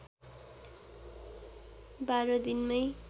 १२ दिनमै